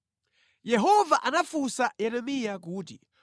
Yehova anafunsa Yeremiya kuti,